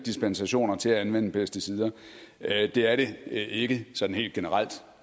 dispensationer til at anvende pesticider det er det ikke sådan helt generelt